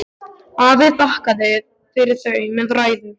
Afi þakkaði fyrir þau með ræðu.